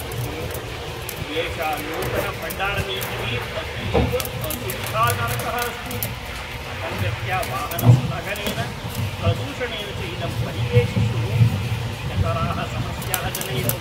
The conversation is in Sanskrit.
अहो एषा नूतनभण्डारनीतिः अतीव असुविधाजनकः अस्ति, असङ्गत्या वाहनस्थगनेन, प्रदूषणेन च इदं परिवेशिषु अधिकतराः समस्याः जनयति।